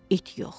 it yox.